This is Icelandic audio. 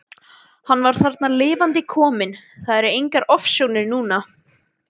Hann var þarna lifandi kominn, það voru engar ofsjónir núna!